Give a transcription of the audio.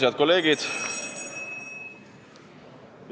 Head kolleegid!